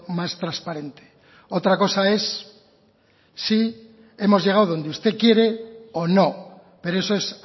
más transparente otra cosa es si hemos llegado donde usted quiere o no pero eso es